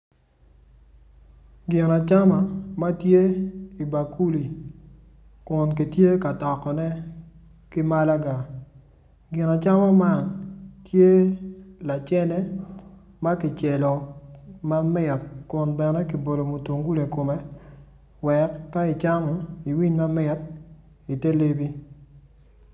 Gin acama matye i bakuli kun gitye ka tokone ki malaga gin acama man tye lacene ma kicelo mamit bene kibolo mutungulu ikome wek ka icamo iwiny manit ite lebi